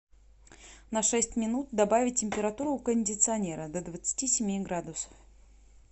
на шесть минут добавить температуру у кондиционера до двадцати семи градусов